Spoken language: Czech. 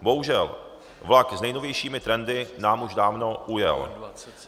Bohužel, vlak s nejnovějšími trendy nám už dávno ujel.